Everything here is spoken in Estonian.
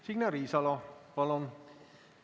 Signe Riisalo, palun!